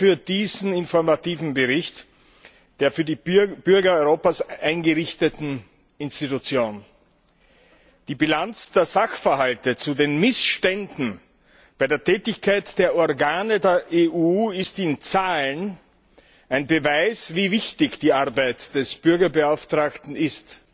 Danke für diesen informativen Bericht der für die Bürger Europas eingerichteten Institution. Die Bilanz der Sachverhalte zu den Missständen bei der Tätigkeit der Organe der EU ist in Zahlen ein Beweis, wie wichtig die Arbeit des Bürgerbeauftragten ist.